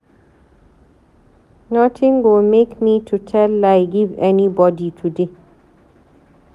Notin go make me to tell lie give anybodi today.